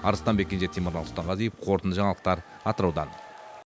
арыстанбек кенже темірлан сұлтанғазиев қорытынды жаңалықтар атыраудан